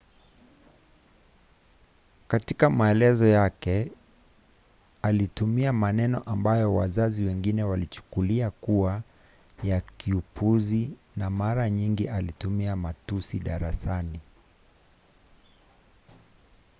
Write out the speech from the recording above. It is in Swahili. katika maelezo yake alitumia maneno ambayo wazazi wengine walichukulia kuwa ya kiupuzi na mara nyingi alitumia matusi darasani